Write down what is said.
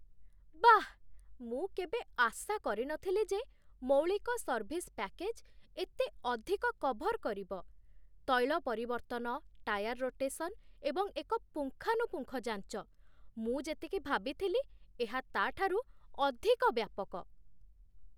ବାଃ, ମୁଁ କେବେ ଆଶା କରିନଥିଲି ଯେ ମୌଳିକ ସର୍ଭିସ୍ ପ୍ୟାକେଜ୍ ଏତେ ଅଧିକ କଭର୍ କରିବ, ତୈଳ ପରିବର୍ତ୍ତନ, ଟାୟାର୍ ରୋଟେସନ୍, ଏବଂ ଏକ ପୁଙ୍ଖାନୁପୁଙ୍ଖ ଯାଞ୍ଚ ମୁଁ ଯେତିକି ଭାବିଥିଲି ଏହା ତା'ଠାରୁ ଅଧିକ ବ୍ୟାପକ!